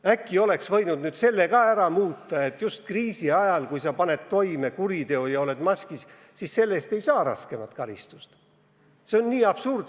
Äkki oleks võinud selle ka ära muuta – et kui paned kriisi ajal toime kuriteo ja kannad maski, siis selle eest ei saa raskemat karistust?